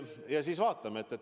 Ja siis vaatame.